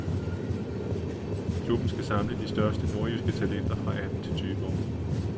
Klubben skal samle de største nordjyske talenter fra atten til tyve år.